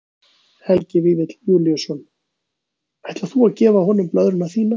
Helgi Vífill Júlíusson: Ætlar þú að gefa honum blöðruna þína?